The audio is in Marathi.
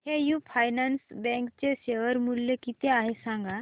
एयू फायनान्स बँक चे शेअर मूल्य किती आहे सांगा